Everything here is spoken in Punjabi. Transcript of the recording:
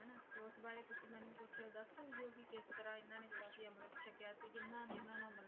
ਦੱਸ ਸਕਦੇ ਹੋ ਕੀ ਕਿਸ ਤਰਾਂ ਇਹਨਾਂ ਨੇ ਜਿਹੜਾ ਵੀ ਅੰਮ੍ਰਿਤ ਛਕਿਆ ਸੀ ਕਿੰਨਾ ਨੇ ਇਹਨਾਂ ਨਾਲ